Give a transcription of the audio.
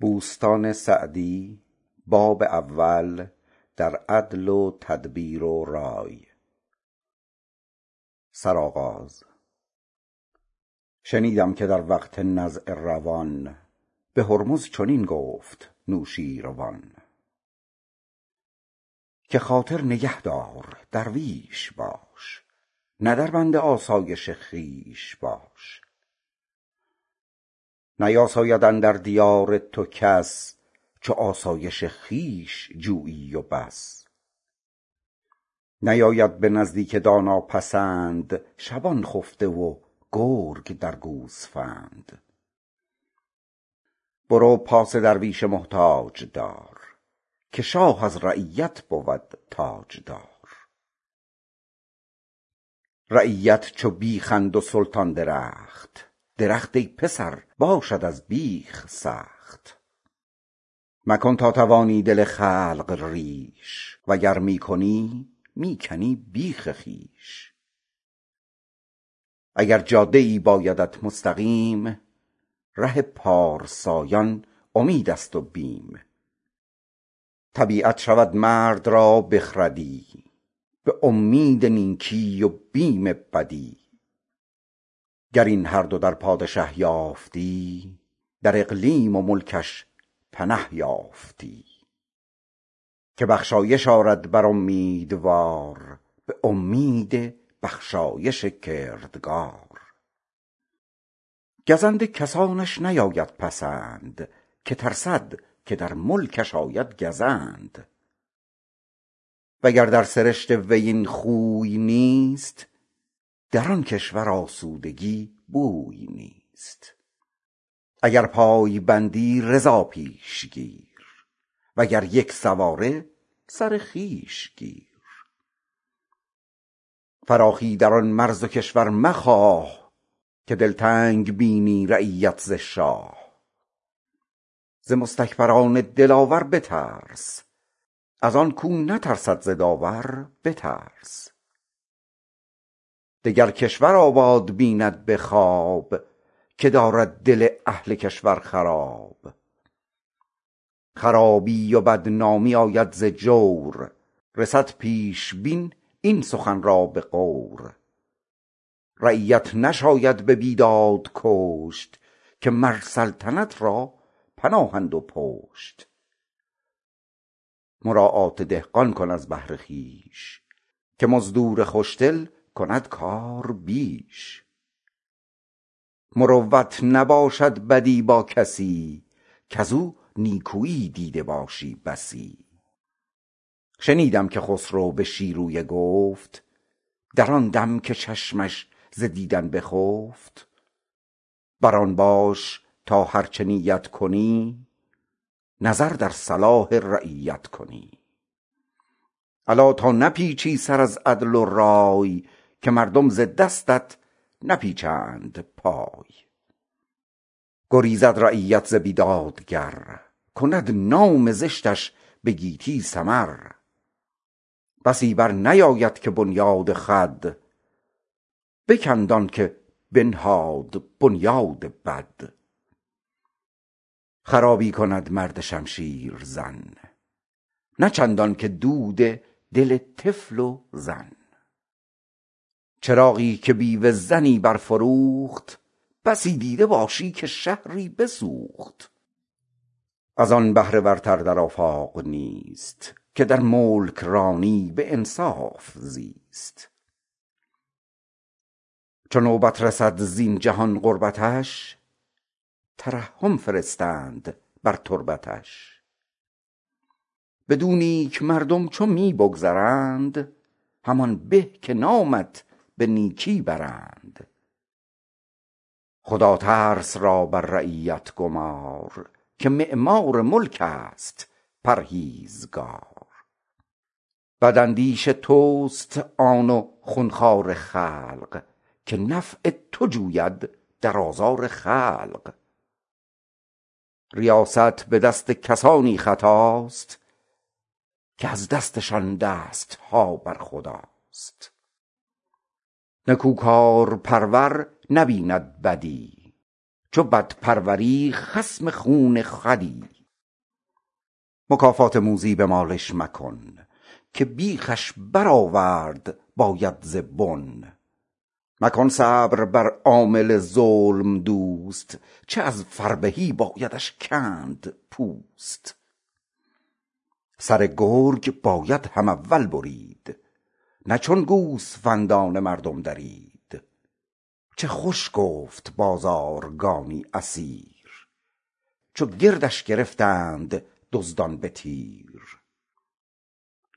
شنیدم که در وقت نزع روان به هرمز چنین گفت نوشیروان که خاطر نگهدار درویش باش نه در بند آسایش خویش باش نیاساید اندر دیار تو کس چو آسایش خویش جویی و بس نیاید به نزدیک دانا پسند شبان خفته و گرگ درد گوسفند برو پاس درویش محتاج دار که شاه از رعیت بود تاجدار رعیت چو بیخند و سلطان درخت درخت ای پسر باشد از بیخ سخت مکن تا توانی دل خلق ریش وگر می کنی می کنی بیخ خویش اگر جاده ای بایدت مستقیم ره پارسایان امید است و بیم طبیعت شود مرد را بخردی به امید نیکی و بیم بدی گر این هر دو در پادشه یافتی در اقلیم و ملکش بنه یافتی که بخشایش آرد بر امیدوار به امید بخشایش کردگار گزند کسانش نیاید پسند که ترسد که در ملکش آید گزند وگر در سرشت وی این خوی نیست در آن کشور آسودگی بوی نیست اگر پای بندی رضا پیش گیر وگر یک سواری سر خویش گیر فراخی در آن مرز و کشور مخواه که دلتنگ بینی رعیت ز شاه ز مستکبران دلاور بترس از آن کاو نترسد ز داور بترس دگر کشور آباد بیند به خواب که دارد دل اهل کشور خراب خرابی و بدنامی آید ز جور رسد پیش بین این سخن را به غور رعیت نشاید به بیداد کشت که مر سلطنت را پناهند و پشت مراعات دهقان کن از بهر خویش که مزدور خوش دل کند کار بیش مروت نباشد بدی با کسی کز او نیکویی دیده باشی بسی شنیدم که خسرو به شیرویه گفت در آن دم که چشمش ز دیدن بخفت بر آن باش تا هرچه نیت کنی نظر در صلاح رعیت کنی الا تا نپیچی سر از عدل و رای که مردم ز دستت نپیچند پای گریزد رعیت ز بیدادگر کند نام زشتش به گیتی سمر بسی بر نیاید که بنیاد خود بکند آن که بنهاد بنیاد بد خرابی کند مرد شمشیر زن نه چندان که دود دل طفل و زن چراغی که بیوه زنی برفروخت بسی دیده باشی که شهری بسوخت از آن بهره ورتر در آفاق کیست که در ملکرانی به انصاف زیست چو نوبت رسد زین جهان غربتش ترحم فرستند بر تربتش بد و نیک مردم چو می بگذرند همان به که نامت به نیکی برند خداترس را بر رعیت گمار که معمار ملک است پرهیزگار بد اندیش توست آن و خون خوار خلق که نفع تو جوید در آزار خلق ریاست به دست کسانی خطاست که از دستشان دست ها بر خداست نکوکارپرور نبیند بدی چو بد پروری خصم خون خودی مکافات موذی به مالش مکن که بیخش برآورد باید ز بن مکن صبر بر عامل ظلم دوست که از فربهی بایدش کند پوست سر گرگ باید هم اول برید نه چون گوسفندان مردم درید چه خوش گفت بازارگانی اسیر چو گردش گرفتند دزدان به تیر